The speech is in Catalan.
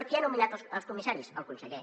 qui ha nomenat els comissaris el conseller